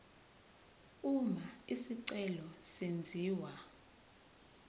uma isicelo senziwa